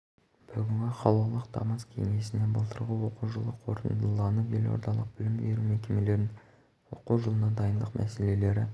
бүгінгі қалалық тамыз кеңесінде былтырғы оқу жылы қорытындыланып елордалық білім беру мекемелерінің оқу жылына дайындық мәселелері